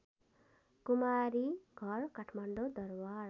Kumari Ghar Kathmandu Darbar